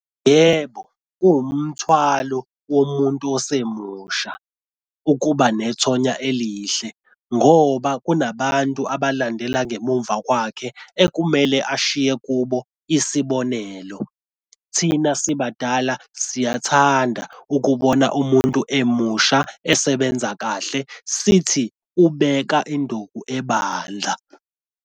Yebo, kuwumthwalo womuntu osemusha ukuba aba nethonya elihle ngoba kunabantu abalandela ngemumva kwakhe ekumele ashiye kube isibonelo. Thina sibadala siyathanda ukubona umuntu emusha esebenza kahle, sithi ubeka induku ebandla.